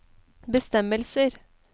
bestemmelser